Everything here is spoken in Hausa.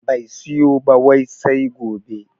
Bai siyo ba wai sai gobe